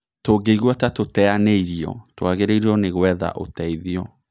Tũngĩigua ta tũteanĩirio, tũagĩrĩirwo nĩ gũetha ũteithio.